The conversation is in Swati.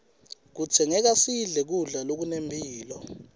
kudzingeka sidle kudla lokunempilo